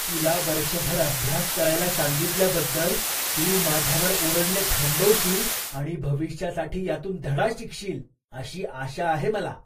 तुला वर्षभर अभ्यास करायला सांगितल्याबद्दल तू माझ्यावर ओरडणे थांबवशील आणि भविष्यासाठी यातून धडा शिकशील, अशी आशा आहे मला.